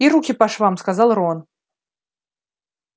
и руки по швам сказал рон